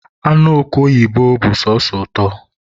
anụ oke oyibo bụ sọsọ ụtọ